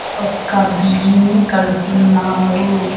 ఒక్క బీన్ ని కడుతున్నారు.